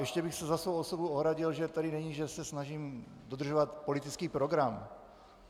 Ještě bych se za svou osobu ohradil, že tedy není, že se snažím dodržovat politický program.